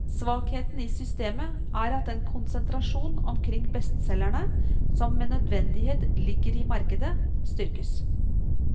Svakheten i systemet er at den konsentrasjon omkring bestselgerne som med nødvendighet ligger i markedet, styrkes.